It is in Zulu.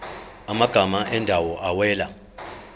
amagama ezindawo awela